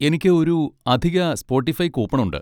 എനിക്ക് ഒരു അധിക സ്പോട്ടിഫൈ കൂപ്പൺ ഉണ്ട്.